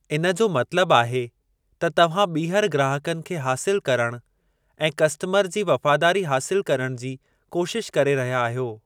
इन जो मतलबु आहे त तव्हां ॿीहर ग्राहकनि खे हासिल करणु ऐं कस्टमर जी वफ़ादारी हासिल करणु जी कोशिश करे रहिया आहियो।